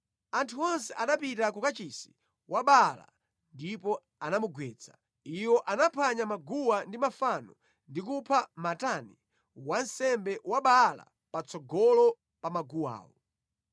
Anthu onse anapita ku kachisi wa Baala ndipo anamugwetsa. Iwo anaphwanya maguwa ndi mafano ndi kupha Matani wansembe wa Baala patsogolo pa maguwawo.